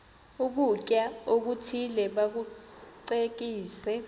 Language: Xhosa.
ukutya okuthile bakucekise